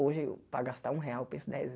Hoje, para gastar um real, eu penso dez